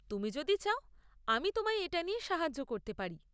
তুমি যদি চাও আমি তোমায় এটা নিয়ে সাহায্য করতে পারি।